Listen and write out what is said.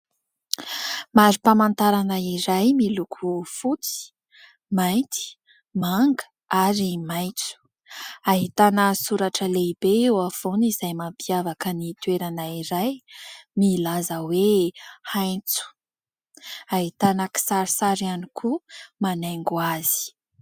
Marim-pamantarana iray miloko fotsy, mainty, manga ary maitso, ahitana soratra lehibe eo afovoany izay mampiavaka ny toerana iray milaza hoe <<Haintso>>, ahitana kisarisary ihany koa manaingo azy.